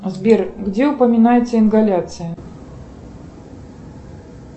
сбер где упоминается ингаляция